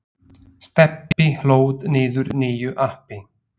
Stebbi hlóð niður nýju appi.